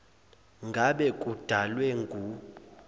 ngabe kudalwe ngu